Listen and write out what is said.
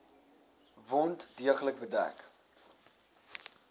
wond deeglik bedek